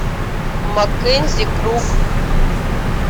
маккензи крук